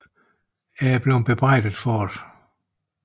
Jeg er blevet bebrejdet for det